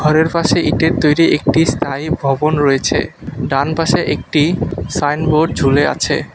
পুলের পাশে ইটের তৈরি একটি স্থায়ী ভবন রয়েছে ডান পাশে একটি সাইনবোর্ড ঝুলে আছে।